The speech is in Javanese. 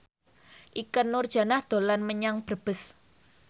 Ikke Nurjanah dolan menyang Brebes